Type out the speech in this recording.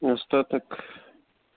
остаток